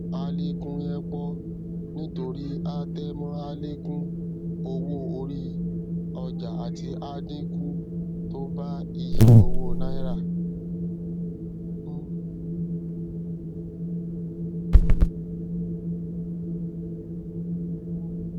alekun yen pọ nítorí atẹmọ alekun owó orí ọjà àti adínkú tó bá ìyí owó náírà